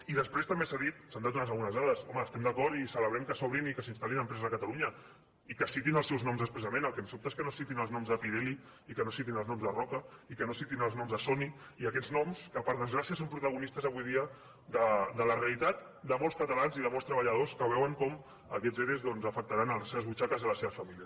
i després també s’ha dit s’han donat també algunes dades home estem d’acord i celebrem que s’obrin i que s’instal·lin empreses a catalunya i que citin els seus noms expressament el que em sobta és que no es citin els noms de pirelli i que no es citin els noms de roca i que no es citin els noms de sony i aquests noms que per desgràcia són protagonistes avui dia de la realitat de molts catalans i de molts treballadors que veuen com aquests ere doncs afectaran les seves butxaques i les seves famílies